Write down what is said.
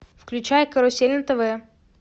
включай карусель на тв